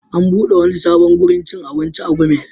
An buɗe wani sabon wurin cin abinci a Gumel.